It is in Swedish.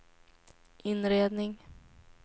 inredning